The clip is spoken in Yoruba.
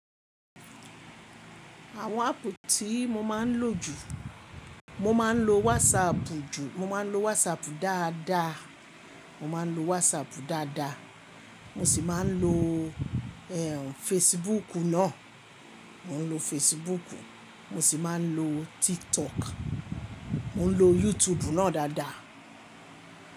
Àwọn áàpù tí mo máa ń lò jù, mo máa ń lo WhatsApp jù, mo máa ń lo WhatsApp dáadáa, mo máa ń lo WhatsApp dáadáa. Mo sì máa ń lo Facebook náà. Mo ń lo Facebook, mo sì máa ń lo TikTok, mo ń lo YouTube náà dáadáa.